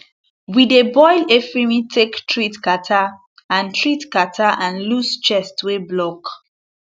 we dey boil efirin take treat catarrh and treat catarrh and loose chest wey block